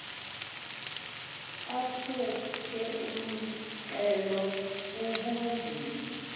aphuke umxhelo bubunzima